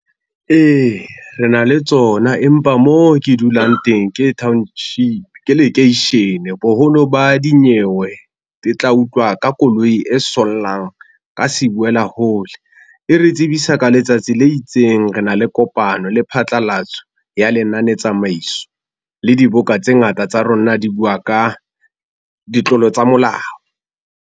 Ee, re na le tsona, empa mo ke dulang teng ke township ke lekeishene boholo ba dinyewe di tla utlwa ka koloi e sollang ka sibuela hole. E re tsebisa ka letsatsi le itseng. Re na le kopano le phatlalatso ya lenanetsamaiso, le diboka tse ngata tsa rona di bua ka ditlolo tsa molao.